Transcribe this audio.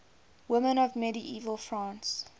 women of medieval france